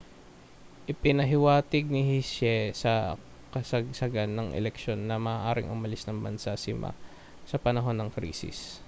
ipinahiwatig ni hsieh sa kasagsagan ng eleksyon na maaaring umalis ng bansa si ma sa panahon ng krisis